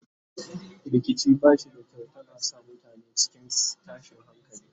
rikici bashi da kyau tana sa mutane cikin tashin hankali